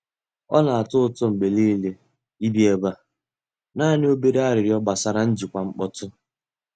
Ọ na-atọ ụtọ mgbe niile ibi ebe a; naanị obere arịrịọ gbasara njikwa mkpọtụ.